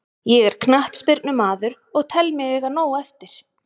Ég er knattspyrnumaður og tel mig eiga nóg eftir.